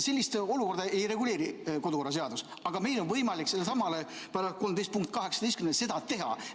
Sellist olukorda ei reguleeri kodukorraseadus, aga meil on võimalik sellelesamale § 13 punktile 18 tuginedes seda teha.